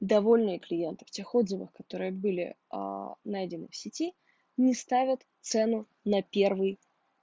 довольные клиенты в тех отзывах которые были аа найдены в сети не ставят цену на первый